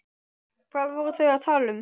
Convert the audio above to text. Hvað voru þau að tala um?